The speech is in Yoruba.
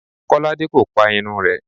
Kọ́lá kò pa irun rẹ̀.